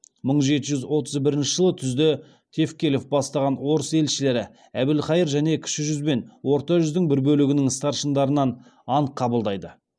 мың жеті жүз отыз бірінші жылы түзде тевкелев бастаған орыс елшілері әбілқайыр және кіші жүз бен орта жүздің бір бөлігінің старшындарынан ант қабылдайды